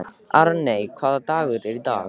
Arney, hvaða dagur er í dag?